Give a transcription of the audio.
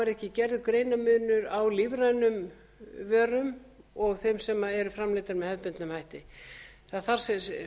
er ekki gerður greinarmunur á lífrænum vörum og þeim sem eru framleiddar með hefðbundnum hætti það þarf hreinlega